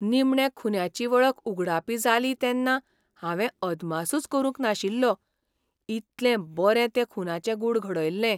निमणें खून्याची वळख उगडापी जाली तेन्ना हांवे अदमासूच करूंक नाशिल्लो, इतलें बरें तें खूनाचें गूढ घडयल्लें.